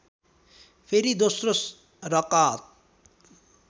फेरि दोस्रो रकअत